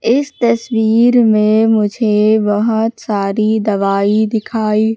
इस तस्वीर में मुझे बहोत सारी दवाई दिखाई--